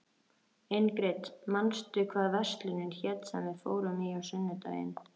Ingrid, manstu hvað verslunin hét sem við fórum í á sunnudaginn?